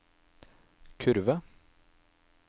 kurve